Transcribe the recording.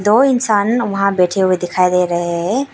वो इंसान वहां बैठे हुए दिखाई दे रहे हैं।